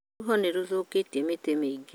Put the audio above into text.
Rũhuho nĩ rũthũkĩtie mĩtĩ mĩingĩ